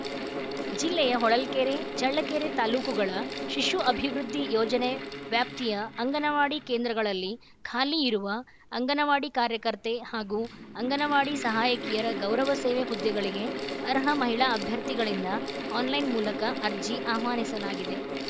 ಜಿಲ್ಲೆಯ ಹೊಳಲ್ಕೆರೆ ಚಳ್ಳಕೆರೆ ತಾಲೂಕುಗಳ ಶಿಶು ಅಭಿವೃದ್ಧಿ ಯೋಜನೆ ವ್ಯಾಪ್ತಿಯ ಅಂಗನವಾಡಿ ಕೇಂದ್ರಗಳಲ್ಲಿ ಖಾಲಿ ಇರುವ ಅಂಗನವಾಡಿ ಕಾರ್ಯಕರ್ತೆ ಹಾಗೂ ಅಂಗನವಾಡಿ ಸಹಾಯಕಿಯರ ಗೌರವ ಸೇವೆ ಹುದ್ದೆಗಳಿಗೆ ಅರ್ಹ ಮಹಿಳಾ ಅಭ್ಯರ್ಥಿಗಳಿಂದ ಆನ್‌ಲೈನ್‌ ಮೂಲಕ ಅರ್ಜಿ ಆಹ್ವಾನಿಸಲಾಗಿದೆ